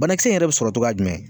Banakisɛ in yɛrɛ be sɔrɔ togoya jumɛn